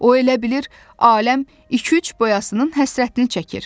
O elə bilir aləm iki-üç boyasının həsrətini çəkir.